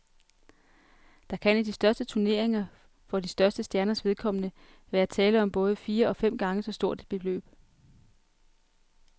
Der kan i de største turneringer for de største stjerners vedkommende være tale om både fire og fem gange så stort et beløb.